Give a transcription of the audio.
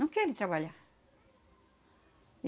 Não querem trabalhar.